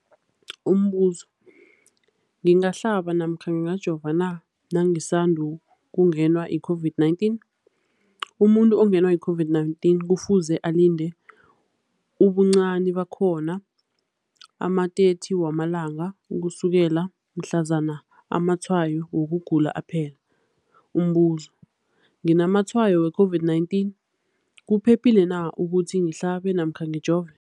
Umbuzo, ngingahlaba namkha ngingajova na nangisandu kungenwa yi-COVID-19? Umuntu ongenwe yi-COVID-19 kufuze alinde ubuncani bakhona ama-30 wama langa ukusukela mhlazana amatshayo wokugula aphela. Umbuzo, nginamatshayo we-COVID-19, kuphephile na ukuthi ngihlabe namkha ngijove?